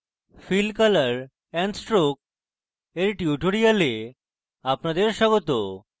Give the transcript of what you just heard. fill color and stroke এর tutorial আপনাদের স্বাগত